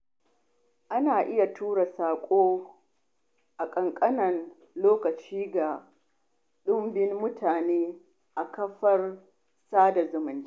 Ana iya tura saƙo a ƙanƙanin lokaci ga dubban mutane a kafar sada zumunta.